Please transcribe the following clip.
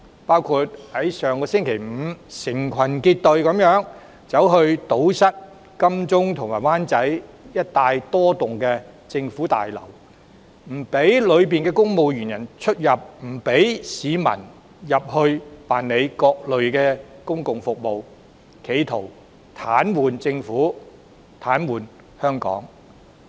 上周五，示威者成群結隊堵塞金鐘及灣仔一帶多幢政府大樓，不讓大樓內的公務員出入，也不讓市民進入辦理各類手續，企圖癱瘓政府、癱瘓香港。